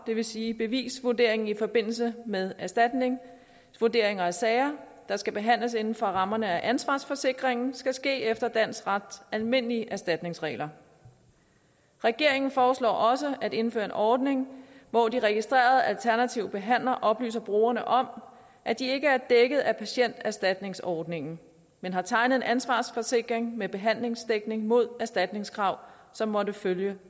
det vil sige bevisvurdering i forbindelse med erstatning og vurderingen af de sager der skal behandles inden for rammerne af ansvarsforsikringen skal ske efter dansk rets almindelige erstatningsregler regeringen foreslår også at indføre en ordning hvor de registrerede alternative behandlere oplyser brugerne om at de ikke er dækket af patienterstatningsordningen men har tegnet en ansvarsforsikring med behandlingsdækning mod erstatningskrav som måtte følge